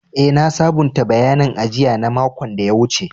Eh, na sabunta bayanin ajia na makon da ya wuce.